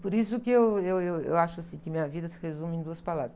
Por isso que eu, eu, eu acho, assim, que minha vida se resume em duas palavras.